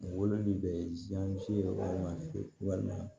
Wololi bɛ walima walima